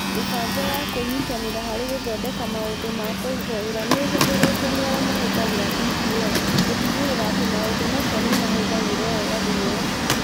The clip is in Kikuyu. Mĩbango ya kwĩnyitanĩra harĩ gũthondeka maũndũ ma kũrutwo wĩra nĩ ĩhũthĩrĩtwo nĩ arĩa mahũthagĩra DPL gũtigĩrĩra atĩ maũndũ macio nĩ mahũthagĩrũo wega thĩinĩ wa cukuru.